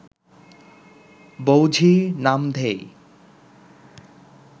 বউ-ঝী নামধেয়